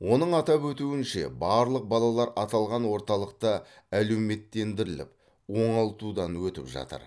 оның атап өтуінше барлық балалар аталған орталықта әлеуметтендіріліп оңалтудан өтіп жатыр